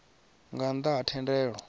nga nnḓ a ha thendelo